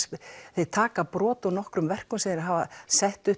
þeir taka brot úr nokkrum verkum sem þeir hafa sett upp